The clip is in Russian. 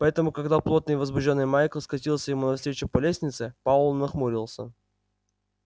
поэтому когда потный и возбуждённый майкл скатился ему навстречу по лестнице пауэлл нахмурился